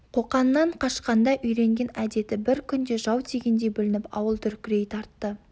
қоқаннан қашқанда үйренген әдеті бір күнде жау тигендей бүлініп ауыл дүркірей тартты